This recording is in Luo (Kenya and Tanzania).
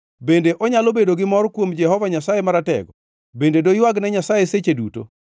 Bende onyalo bedo gi mor kuom Jehova Nyasaye Maratego? Bende doywagne Nyasaye seche duto?